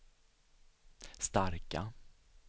starka